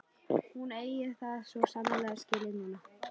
Hún eigi það svo sannarlega skilið núna.